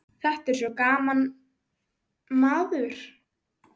Þetta er svo gaman, maður.